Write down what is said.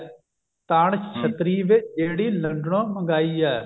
ਤਾਣ ਛਤਰੀ ਵੇ ਲੋੰਡਨੋ ਮੰਗਵਾਈ